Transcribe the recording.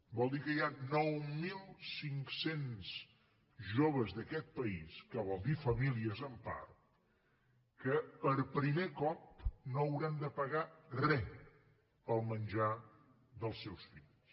vol dir que hi ha nou mil cinc cents joves d’aquest país que vol dir famílies en part que per primer cop no hauran de pagar re pel menjar dels seus fills